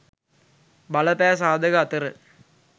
බලපෑ සාධක අතර